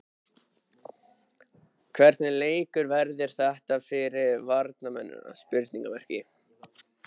Hvernig leikur verður þetta fyrir varnarmennina?